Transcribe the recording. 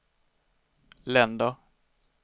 länder